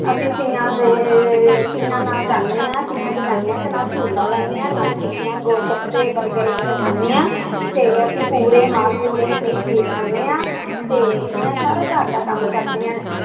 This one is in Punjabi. ਅਸੀਂ ਤੀਆਂ ਦੇ ਤੀਆਂ ਨਾਲ ਜਾਂਦੇ ਹਾਂ ਤੀਆਂ ਤੇ ਜਾਂਦੇ ਹਾਂ ਤੇ ਨਾਲ ਝੂਲਾ ਲੈਂਦੇ ਹਾਂ ਨਾਲੇ ਟਿੱਕੀਆਂ, ਗੋਲਗੱਪੇ, ਬਰਗਰ ਵਗ਼ੈਰਾ ਖਾਂਦੇ ਹਾਂ ਤੇ ਅਸੀਂ ਪੂੜੇ ਮਾਲਪੂੜੇ ਤੇ ਖੀਰ ਖਾਂਦੇ ਹਾਂ ਤੇ ਮੈਂ ਸਾਰਾ ਘਰਦਾ ਕੰਮ ਕਰਦੀ ਹਾਂ।